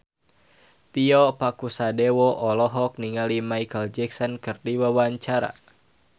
Tio Pakusadewo olohok ningali Micheal Jackson keur diwawancara